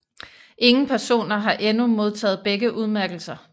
Ingen personer har endnu modtaget begge udmærkelser